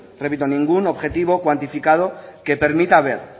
repito objetivo cuantificado que permita ver